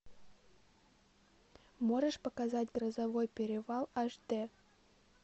можешь показать грозовой перевал аш дэ